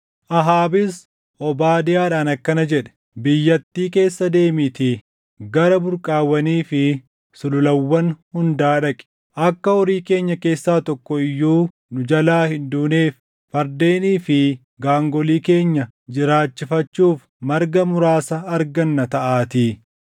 Ahaabis Obaadiyaadhaan akkana jedhe; “Biyyattii keessa deemiitii gara burqaawwanii fi sululawwan hundaa dhaqi. Akka horii keenya keessaa tokko iyyuu nu jalaa hin duuneef fardeenii fi gaangolii keenya jiraachifachuuf marga muraasa arganna taʼaatii.”